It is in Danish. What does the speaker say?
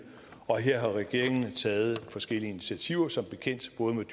og her har regeringen taget forskellige initiativer som bekendt både med